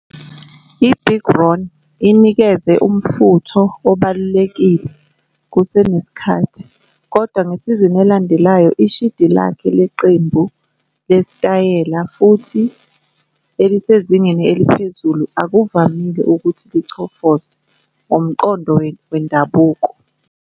IBig Ron inikeze umfutho obalulekile kusenesikhathi, kodwa ngesizini elandelayo ishidi lakhe leqembu lesitayela futhi elisezingeni eliphezulu akuvamile ukuthi 'lichofoze' ngomqondo wendabuko.